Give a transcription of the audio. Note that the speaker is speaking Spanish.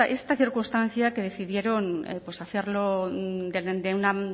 esta circunstancia que decidieron hacerlo de una